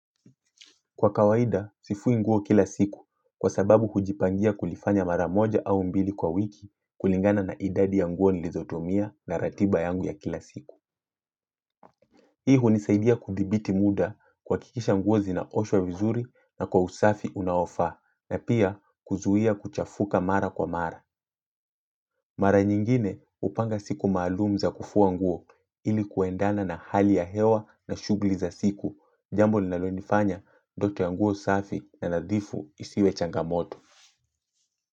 Kwa kawaida sifui nguo kila siku kwa sababu hujipangia kulifanya mara moja au mbili kwa wiki kulingana na idadi ya nguo nilizotumia na ratiba yangu ya kila siku. Hii hunisaidia kuthibiti muda kuhakikisha nguo zinaoshwa vizuri na kwa usafi unaofaa na pia kuzuia kuchafuka mara kwa mara. Mara nyingine hupanga siku maalum za kufua nguo ili kuendana na hali ya hewa na shughuli za siku. Jambo ninalo nifanya ndoto ya nguo safi na nadhifu isiwe changamoto.